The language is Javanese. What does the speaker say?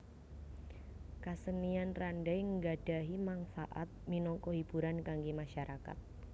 Kasenian Randai nggadhahi mangfaat minangka hiburan kanggé masyarakat